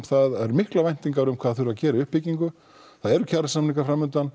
það eru miklar væntingar um hvað þarf að gera í uppbyggingu það eru kjarasamningar